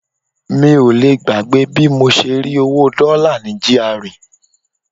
Mi ò lè gbàgbé bí mo ṣe rí owó Dollar ní GRA.